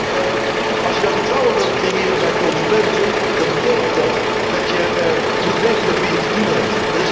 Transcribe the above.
En als je vertrouwen wil creëren bij consumenten, betekent dat dat je moet weten met wie je te doen hebt.